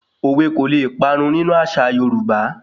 Òwe kò le parun nínú àṣà Yorúbá